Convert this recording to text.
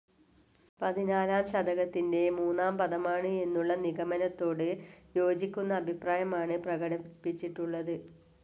പതിനാലാം ശതകത്തിൻ്റെ മൂന്നാം പദമാണ് എന്നുള്ള നിഗമനത്തോട് യോജിക്കുന്ന അഭിപ്രായമാണ് പ്രകടിപ്പിച്ചിട്ടുള്ളത്.